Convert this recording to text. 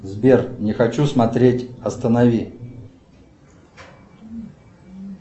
сбер не хочу смотреть останови